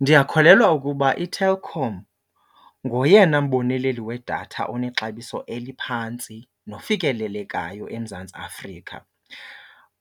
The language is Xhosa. Ndiyakholelwa ukuba iTelkom ngoyena mboneleli wedatha onexabiso eliphantsi nofikelelekayo eMzantsi Afrika.